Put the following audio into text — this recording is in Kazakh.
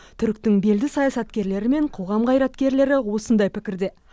түріктің белді саясаткерлері мен қоғам қайраткерлері осындай пікірде